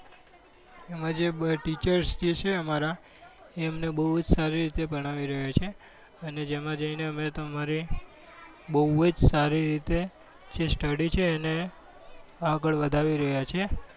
એમાં જે teachers જે છે અમારા એ અમને બઉ જ સારું ભણાવી રહ્યા છે અને એમાં જઈ ને મેં અમારી બઉ જ સારી રીતે જ study છે એને આગળ વધાવી રહ્યા છે